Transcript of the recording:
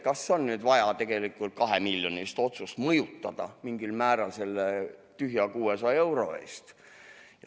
Kas on nüüd vaja kahemiljonilist otsust mingil määral mõjutada selle tühipalja 600 euro eest?